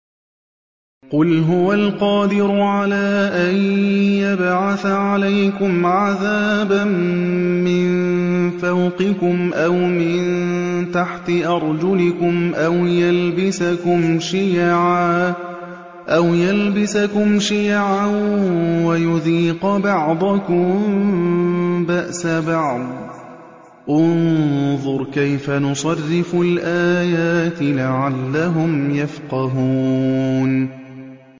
قُلْ هُوَ الْقَادِرُ عَلَىٰ أَن يَبْعَثَ عَلَيْكُمْ عَذَابًا مِّن فَوْقِكُمْ أَوْ مِن تَحْتِ أَرْجُلِكُمْ أَوْ يَلْبِسَكُمْ شِيَعًا وَيُذِيقَ بَعْضَكُم بَأْسَ بَعْضٍ ۗ انظُرْ كَيْفَ نُصَرِّفُ الْآيَاتِ لَعَلَّهُمْ يَفْقَهُونَ